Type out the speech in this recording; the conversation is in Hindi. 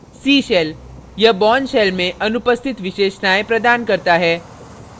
c shell यह bourne shell में अनुपस्थित विशेषतायें features प्रदान करता है